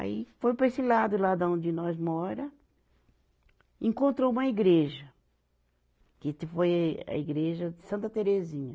Aí foi para esse lado, lá da onde nós mora, encontrou uma igreja, que, que foi a igreja de Santa Terezinha.